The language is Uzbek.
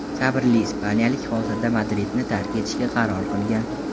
Sabrli ispaniyalik hozirda Madridni tark etishga qaror qilgan.